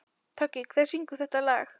Toggi, hver syngur þetta lag?